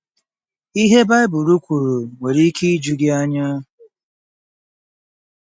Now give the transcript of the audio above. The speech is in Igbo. Ihe Baịbụl kwuru nwere ike iju gị anya.